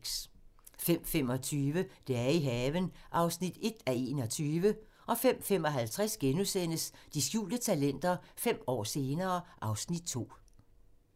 05:25: Dage i haven (1:21) 05:55: De skjulte talenter - fem år senere (Afs. 2)*